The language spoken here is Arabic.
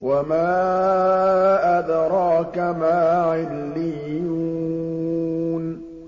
وَمَا أَدْرَاكَ مَا عِلِّيُّونَ